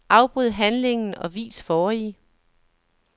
Afbryd handlingen og vis forrige.